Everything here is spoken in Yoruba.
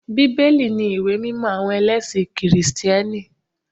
Bíbélì ni ìwé mímọ àwọn ẹlẹ́sìn kìrìtẹ́nì